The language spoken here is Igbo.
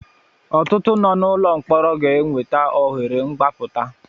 Ọtụtụ nọ n'ụlọ mkpọrọ ga enweta ohere mgbaputa.